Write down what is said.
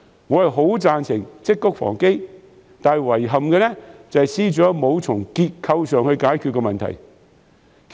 我很贊成積穀防飢，但遺憾的是，司長沒有從結構上解決問題。